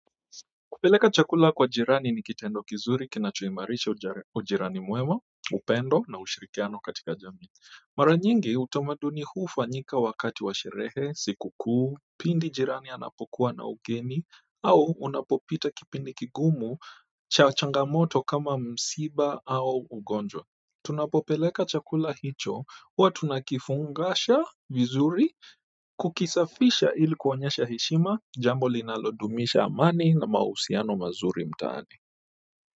Kupeleka chakula kwa jirani ni kitendo kizuri kinachoimarisha ujirani mwema, upendo na ushirikiano katika jamii. Mara nyingi utamaduni huu hufanyika wakati wa sherehe, sikukuu, pindi jirani anapokuwa na ugeni, au unapopita kipindi kigumu cha changamoto kama msiba au ugonjwa. Tunapopeleka chakula hicho huwa tunakifungasha vizuri, kukisafisha ili kuonyesha heshima jambo linalodumisha amani na mahusiano mazuri mtaani.